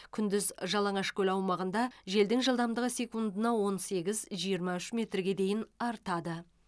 күндіз жалаңашкөл аумағында желдің жылдамдығы секундына он сегіз жиырма үш метрге дейін артады